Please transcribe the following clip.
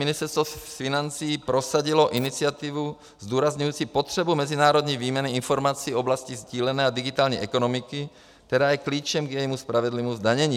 Ministerstvo financí prosadilo iniciativu zdůrazňující potřebu mezinárodní výměny informací v oblasti sdílené a digitální ekonomiky, která je klíčem k jejímu spravedlivému zdanění.